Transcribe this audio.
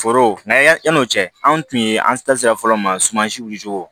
Foro n'an ya yan'o cɛ anw tun ye an sera fɔlɔ ma sumansiw